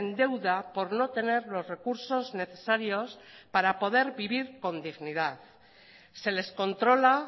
deuda por no tener los recursos necesarios para poder vivir con dignidad se les controla